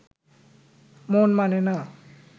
মন মানে না